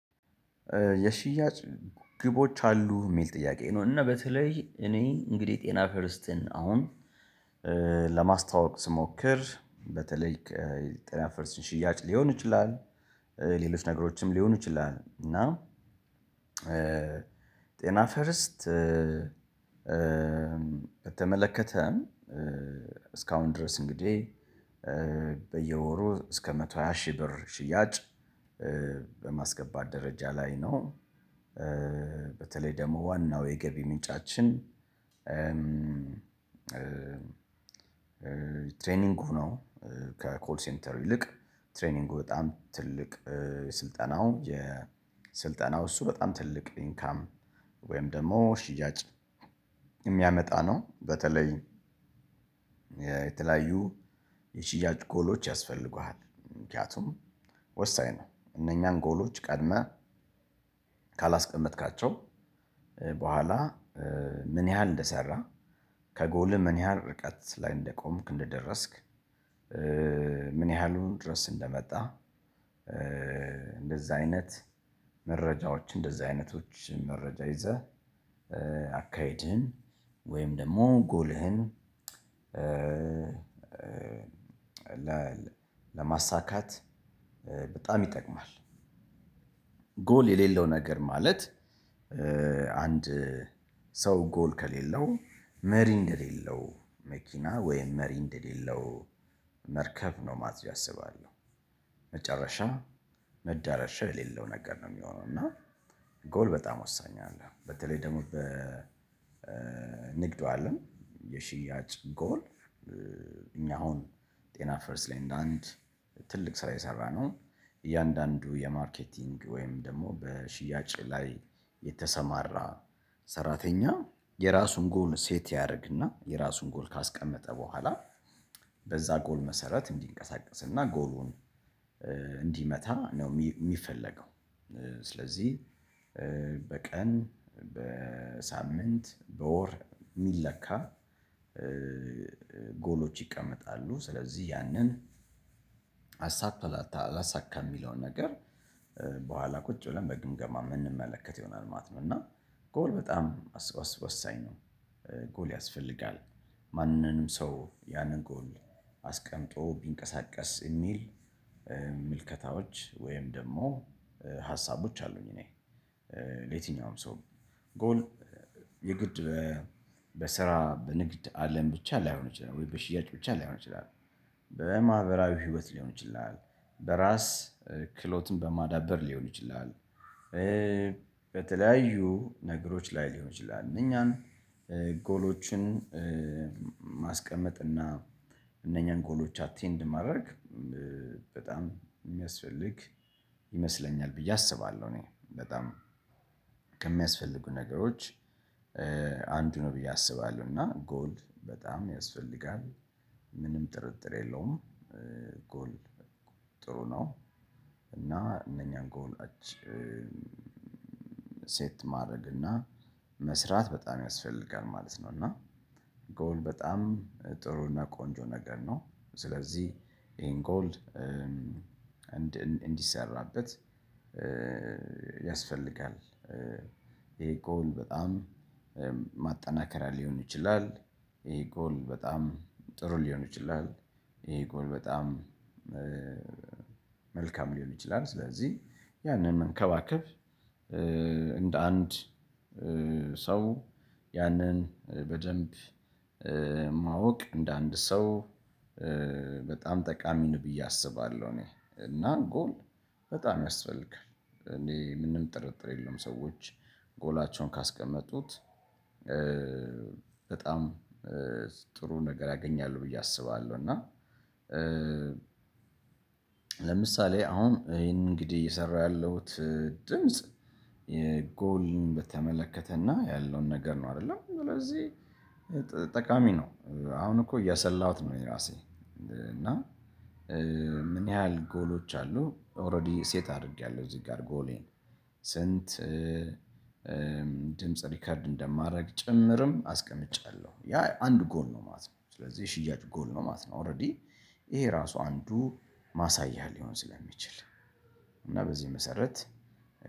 የሽያጭ ግቦች አሉ የሚል ጥያቄ ነው። እና በተለይ እኔ እንግድህ ጤና ፈርስትን አሁን ለማስተዋወቅ ስሞክር በተለይ ጣሊያን ፈርስትን ሽያጭ ሊሆን ይችላል። ሌሎች ነገሮችም ሊሆኑ ይችላል እና። ጤና ፈርስት በተመለከተም። እስካሁን ድረስ እንግዲህ በየወሩ እስከ መቶ ሃያ ሺህ ብር ሽያጭ በማስገባት ደረጃ ላይ ነው። በተለይ ደግሞ ዋናው የገቢ ምንጫችን። ትሬኒንጉ ነው። ከኮል ሴንተር ይልቅ ትሬኒንጉ በጣም ትልቅ ስልጠናው የስልጠናው እሱ በጣም ትልቅ ኢንካም ወይም ደግሞ ሽያጭ። የሚያመጣ ነው በተለይ የተለያዩ የሽያጭ ጎሎች ያስፈልጉሃል። ምክንያቱም ወሳኝ ነው። እነኛን ጎሎች ቀድመህ ካላስቀመጥካቸው በኋላ ምን ያህል እንደሰራ ከጎል ምን ያህል ርቀት ላይ እንደቆምክ እንደደረስክ። ምን ያህሉን ድረስ እንደመጣ። እንደዛ አይነት መረጃዎች እንደዛ አይነቶች መረጃ ይዘህ አካሄድህን ወይም ደግሞ ጎልህን ለማሳካት በጣም ይጠቅማል። ጎል የሌለው ነገር ማለት አንድ ሰው ጎል ከሌለው መሪ እንደሌለው መኪና ወይም መሪ እንደሌለው መርከብ ነው ማለት ብዬ አስባለሁ። መጨረሻም መዳረሻ የሌለው ነገር ነው የሚሆነው። እና ጎል በጣም ወሳኝ አለ በተለይ ደግሞ በንግዱ አለም የሽያጭ ጎል። እኛ አሁን ጤና ፈርስት ላይ እንደ አንድ ትልቅ ስራ የሰራነው እያንዳንዱ የማርኬቲንግ ወይም ደግሞ በሽያጭ ላይ የተሰማራ ሰራተኛ የራሱን ጎል ሴት ያደርግና የራሱን ጎል ካስቀመጠ በኋላ በዛ ጎል መሰረት እንዲንቀሳቀስና ጎሉን እንዲመታ ነው የሚፈለገው። ስለዚህ በቀን በሳምንት በወር የሚለካ ጎሎች ይቀመጣሉ ስለዚህ ያንን አሳክቷል አላሳካም የሚለውን ነገር በኋላ ቁጭ ብለን በግምገማ የምንመለከት ይሆናል ማለት ነው። እና ጎል በጣም ወሳኝ ነው። ጎል ያስፈልጋል ማንንም ሰው ያንን ጎል አስቀምጦ ቢንቀሳቀስ የሚል ምልከታዎች ወይም ደግሞ ሀሳቦች አሉኝ። እኔ የትኛውም ሰው ጎል የግድ ይላል በስራ በንግድ አለም ብቻ ላይሆን ይችላል ወይ በሽያጭ ብቻ ላይሆን ይችላል በማህበራዊ ህይወት ሊሆን ይችላል በራስ ክሎትን በማዳበር ሊሆን ይችላል። በተለያዩ ነገሮች ላይ ሊሆን ይችላል እኛን ጎሎችን ማስቀመጥ እና እነኛን ጎሎች አቴንድ ማድረግ በጣም የሚያስፈልግ ይመስለኛል ብዬ አስባለሁ። ከሚያስፈልጉ ነገሮች አንዱ ነው ብዬ አስባለሁ። እና ጎል በጣም ያስፈልጋል ምንም ጥርጥር የለውም ጎል ጥሩ ነው። እና እነኛን ጎል አጭ ሴት ማድረግ እና መስራት በጣም ያስፈልጋል ማለት ነው። እና ጎል በጣም ጥሩና ቆንጆ ነገር ነው። ስለዚህ ይሄን ጎል እንዲሰራበት ያስፈልጋል። ይሄ ጎል በጣም ማጠናከሪያ ሊሆን ይችላል። ይሄ ጎል በጣም ጥሩ ሊሆን ይችላል። ይሄ ጎል በጣም መልካም ሊሆን ይችላል። ስለዚህ ያንን መንከባከብ እንደ አንድ ሰው ያንን በደንብ ማወቅ እንደ አንድ ሰው በጣም ጠቃሚ ነው ብዬ አስባለሁ። እኔ እና ጎል በጣም ያስፈልጋል እኔ ምንም ጥርጥር የለውም ሰዎች ጎላቸውን ካስቀመጡት በጣም ጥሩ ነገር ያገኛሉ ብዬ አስባለሁ። እና ለምሳሌ አሁን ይሄንን እንግዲህ እየሰራሁ ያለሁት ድምጽ በተመለከተና ያለውን ነገር ነው። አይደለም ስለዚህ ጠቃሚ ነው። አሁን እኮ እያሰላሁት ነው። የራሴ እና ምን ያህል ጎሎች አሉ ኦሬዲ ሴት አድርጌያለሁ። እዚህ ጋር ጎሌን ስንት? ድምጽ ሪከርድ እንደማደርግ ጭምርም አስቀምጫለሁ ያ አንድ ጎል ነው ማት ነው። ስለዚህ ሽያጭ ጎል ነው ማለት ነው። ኦሬዲ ይሄ ራሱ አንዱ ማሳያ ሊሆን ስለሚችል። እና በዚህ መሰረት